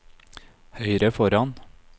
høyre foran